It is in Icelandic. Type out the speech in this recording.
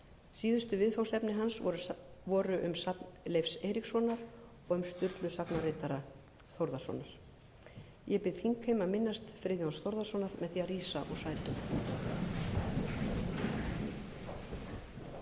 síðustu viðfangsefni hans voru safn um leif eiríksson og um sturlu sagnaritara þórðarson ég bið þingheim að minnast friðjóns þórðarsonar með því að rísa úr sætum